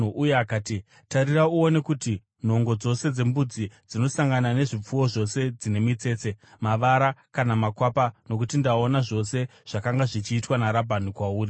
Uye akati, ‘Tarira uone kuti nhongo dzose dzembudzi dzinosangana nezvipfuwo zvose dzine mitsetse, mavara kana makwapa, nokuti ndaona zvose zvakanga zvichiitwa naRabhani kwauri.